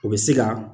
O bɛ se ka